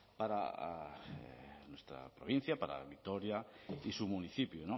para nuestra provincia para vitoria y su municipio